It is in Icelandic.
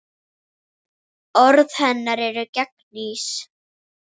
Orð hennar eru gegnsæ.